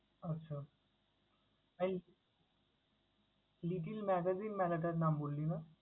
আচ্ছা! এই little magazine মেলাটার নাম বললি না?